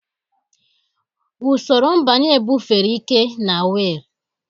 Usoro mbanye bufere ike na wiil.